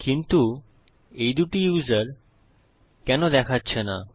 কিন্তু এই দুটি ইউসার কেন দেখাচ্ছে না